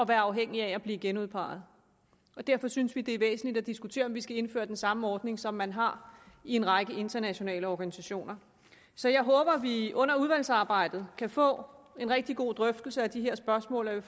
være afhængig af at blive genudpeget derfor synes vi det er væsentligt at diskutere om vi skal indføre den samme ordning som man har i en række internationale organisationer så jeg håber vi under udvalgsarbejdet kan få en rigtig god drøftelse af de her spørgsmål og jeg